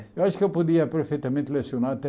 Eu acho que eu podia perfeitamente lecionar até